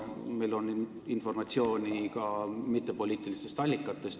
Meil on informatsiooni ka mittepoliitilistest allikatest.